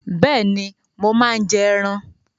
Bẹ́ẹ̀ni, mo máa ń jẹ ẹran